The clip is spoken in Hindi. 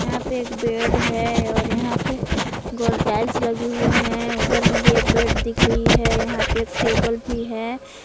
यहां पे एक बेड है और यहां पे गोल टाइल्स लगे हुए हैं उधर में भी एक बेड दिख रही है यहां पे एक टेबल भी है।